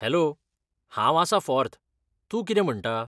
Hello, हांव आसां फॉर्त, तूं कितें म्हणटा?